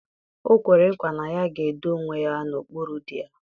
O kwere nkwa na ya ga-edo onwe ya n'okpuru di ya.